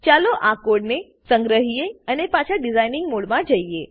ચાલો આ કોડને સંગ્રહીએ અને પાછા ડીઝાઇન મોડમાં જઈએ